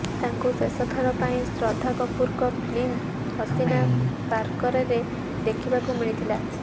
ତାଙ୍କୁ ଶେଷ ଥର ପାଇଁ ଶ୍ରଦ୍ଧା କପୁରଙ୍କ ଫିଲ୍ମ ହସିନା ପାରକରରେ ଦେଖିବାକୁ ମିଳିଥିଲା